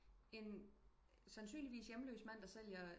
En sandsynligvis hjemløs mand der sælger